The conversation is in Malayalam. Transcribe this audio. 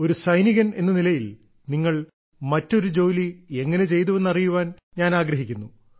ഒരു സൈനികൻ എന്ന നിലയിൽ നിങ്ങൾ മറ്റൊരു ജോലി എങ്ങനെ ചെയ്തുവെന്ന് അറിയാൻ ഞാൻ ആഗ്രഹിക്കുന്നു